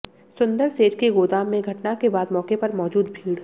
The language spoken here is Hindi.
सुंदर सेठ के गोदाम में घटना के बाद मौके पर मौजूद भीड़